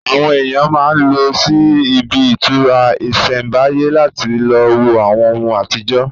Àwọn èèyàn máa n lọ sí ibi ìtura ìsẹ̀mbáyé láti lo wo àwọn ohùn àtijọ́